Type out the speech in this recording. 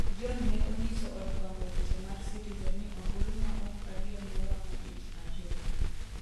John ne onyiso od fwambo weche mar citizen ni ombulu ma ok adier ne wang'o ich ahinya